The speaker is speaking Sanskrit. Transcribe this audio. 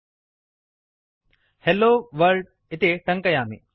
h e l l O w o r l D इति टङ्कयामि